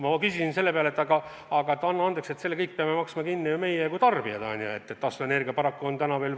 Ma ütlesin selle peale, et anna andeks, aga selle kõik peame maksma kinni ju meie kui tarbijad, taastuvenergiast paraku täna veel ei piisa.